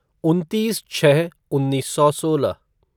उनतीस छः उन्नीस सौ सोलह